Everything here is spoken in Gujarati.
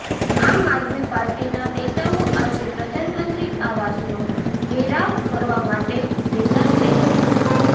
આમ આદમી પાર્ટીના નેતાઓ આજે પ્રધાનમંત્રી આવાસનો ઘેરાવ કરવા માટે ભેગા થઇ ગયા છે